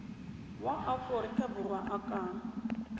wa aforika borwa a ka